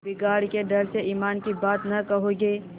बिगाड़ के डर से ईमान की बात न कहोगे